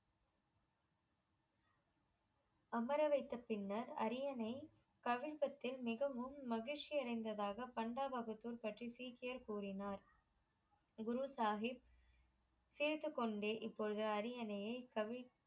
அமரவைத்த பின்னர் அரியனை பகிர்க்கத்தில் மிகவும் மகிழ்ச்சி அடைந்ததாக பான்பா வகுப்பூர்பற்றி சீக்கியர் கூறினார் குரு சாகிப் சிரித்து கொண்டே இப்பொழுது அரியணை கவிழ்த்த